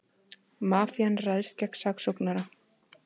Mafían ræðst gegn saksóknara